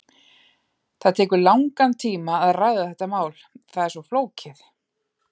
Það tekur langan tíma að ræða þetta mál, það er svo flókið.